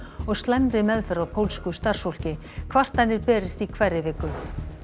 og slæmri meðferð á pólsku starfsfólki kvartanir berist í hverri viku